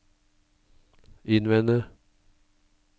innvende